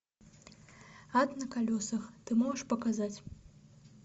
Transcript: ад на колесах ты можешь показать